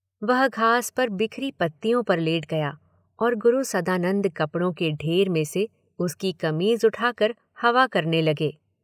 वह घास पर बिखरी पत्तियों पर लेट गया और गुरु सदानंद कपड़ों के ढेर में से उसकी कमीज उठाकर हवा करने लगे।